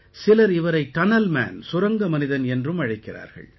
சிலர் இவரை tunnel man சுரங்க மனிதன் என்றும் அழைக்கிறார்கள்